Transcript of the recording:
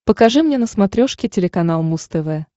покажи мне на смотрешке телеканал муз тв